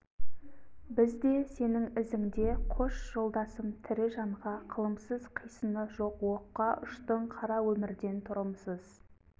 біз де сенің ізіңде қош жолдасым тірі жанға қылымсыз қисыны жоқ оққа ұштың қара өмірден тұрымсыз